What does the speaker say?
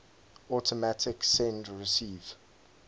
automatic send receive